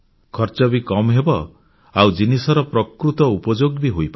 ଖର୍ଚ୍ଚ ବି କମ୍ ହେବ ଆଉ ଜିନିଷର ପ୍ରକୃତ ଉପଯୋଗ ବି ହୋଇପାରିବ